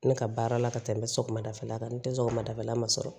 Ne ka baara la ka tɛmɛ sɔgɔmadafɛla kan n tɛ sɔgɔmadafɛla ma sɔrɔ